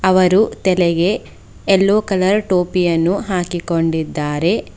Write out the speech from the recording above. ಅವರು ತಲೆಗೆ ಎಲ್ಲೋ ಕಲರ್ ಟೋಪಿಯನ್ನು ಹಾಕಿಕೊಂಡಿದ್ದಾರೆ.